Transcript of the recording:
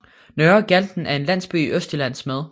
Nørre Galten er en landsby i Østjylland med